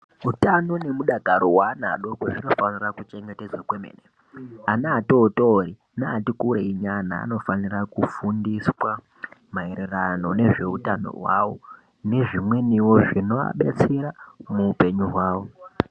Utano nemudakaro hwaana adoko zvinofanira kuchengetedzwa kwemene ana atotori neati kurei nyana anofanira kufundiswa maererano nezveutano hwawo nezvimweniwo zvinoadetsera muupenyu hwawo.